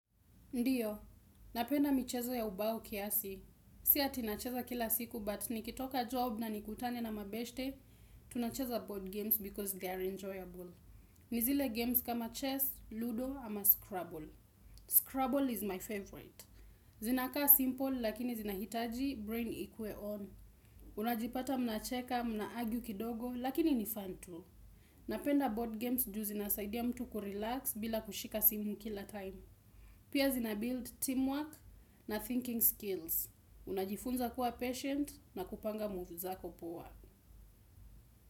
Ndiyo, napenda michezo ya ubao kiasi. Si ati nacheza kila siku, but nikitoka job na nikutane na mabeshte, tunacheza board games because they are enjoyable. Ni zile games kama chess, ludo ama scrabble. Scrabble is my favorite. Zinakaa simple, lakini zinahitaji, brain ikue on. Unajipata mnacheka, mnaargue kidogo, lakini ni fun tu. Napenda board games, ju zinasaidia mtu kurelax bila kushika simu kila time. Pia zinabuild teamwork na thinking skills. Unajifunza kuwa patient na kupanga moves zako poa.